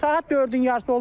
Saat 4-ün yarısı oldu.